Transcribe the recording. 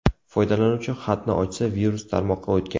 Foydalanuvchi xatni ochsa, virus tarmoqqa o‘tgan.